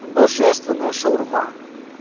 божественная шаурма